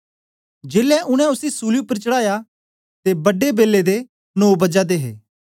जेलै उनै उसी सूली उपर चढ़ाया ते बड्डे बेलै दे नौ बजा दे हे